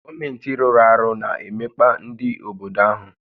Gọọmentị rụ́rụ́ àrụ́ na-emekpa ndị obodo áhụ́